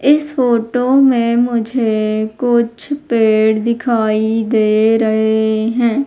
इस फोटो में मुझे कुछ पेड़ दिखाई दे रहे हैं।